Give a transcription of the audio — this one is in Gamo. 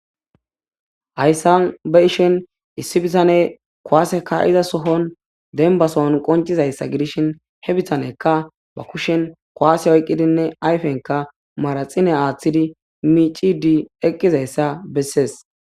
hayssan ba ishen issi bitane kowaase ka'iza sohon denbasohon qoncizayssa gidishin he bitanekka ba kushen koase oyqqidinne ayfenka maraxine aaththidi miicidi eqqizayssa bessees